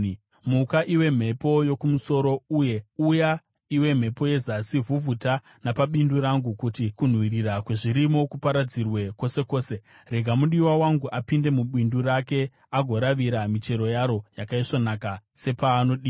Muka, iwe mhepo yokumusoro, uye uya iwe mhepo yezasi! Vhuvhuta napabindu rangu kuti kunhuhwirira kwezvirimo kuparadzirwe kwose kwose. Rega mudiwa wangu apinde mubindu rake, agoravira michero yaro yakaisvonaka, sepaanodira.